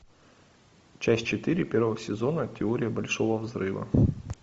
часть четыре первого сезона теория большого взрыва